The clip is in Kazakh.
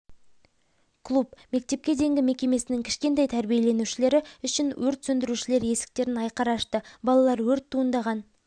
клуб мектепке дейінгі мекемесінің кішкентай тәрбиеленушілері үшін өрт сөндірушілер есіктерін айқара ашты балалар өрт туындаған